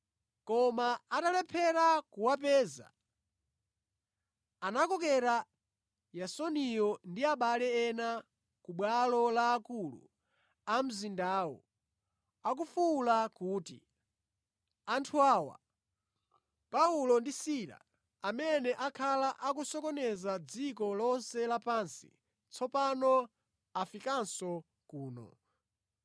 Koma atalephera kuwapeza, anakokera Yasoniyo ndi abale ena ku bwalo la akulu a mzindawo akufuwula kuti, “Anthu awa, Paulo ndi Sila, amene akhala akusokoneza dziko lonse lapansi, tsopano afikanso kuno.